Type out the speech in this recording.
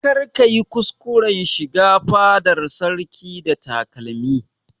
Kar ka yi kuskuran shiga fadar sarki da takalmi!